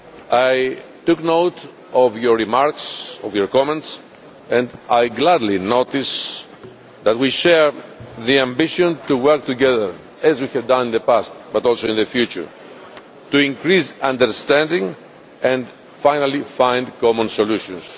I took note of Members' remarks, of their comments and I gladly notice that we share the ambition to work together as we have done in the past but also in the future, to increase understanding and finally find common solutions.